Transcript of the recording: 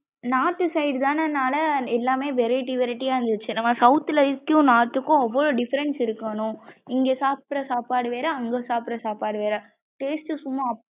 north side தன்னால எல்லாமமே variety variety யா இருந்துச்சு நம்ம south ளைக்கும் north கும் அவ்ளோ diferrence இருக்கு அனு இங்க சாப்டர சாப்பாடு வேற அங்க சாப்டர சாப்பாடு வேற.